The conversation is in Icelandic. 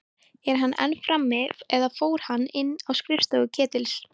Er hann enn frammi- eða fór hann inn á skrifstofu Ketils?